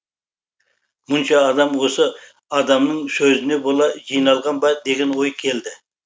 мұнша адам осы адамның сөзіне бола жиналған ба деген ой келді